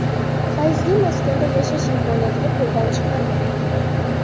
Fayzli maskanda yashash imkoniyatini qo‘ldan chiqarmang!